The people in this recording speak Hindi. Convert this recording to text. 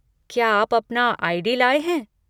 क्या आप अपना आई.डी. लाए हैं?